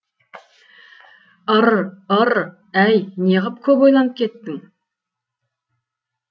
ыр ыр әй неғып көп ойланып кеттің